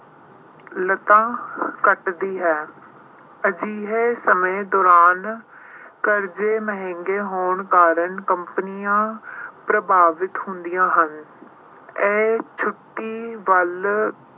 ਘਟਦੀ ਹੈ। ਅਜਿਹੇ ਸਮੇਂ ਦੌਰਾਨ ਕਰਜ਼ੇ ਮਹਿੰਗੇ ਹੋਣ ਕਾਰਨ companies ਪ੍ਰਭਾਵਿਤ ਹੁੰਦੀਆਂ ਹਨ। ਇਹ ਛੁੱਟੀ ਵੱਲ